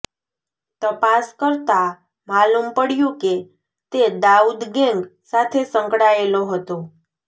તપાસ કરતાં માલૂમ પડયું કે તે દાઉદ ગેંગ સાથે સંકળાયેલો હતો